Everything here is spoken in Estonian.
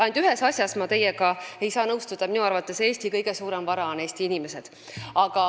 Ainult et ühes asjas ma ei saa teiega nõustuda: minu arvates on Eesti kõige suurem vara Eesti inimesed.